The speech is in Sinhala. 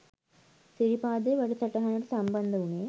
සිරිපාදේ වැඩ සටහනට සම්බන්ධ වුණේ.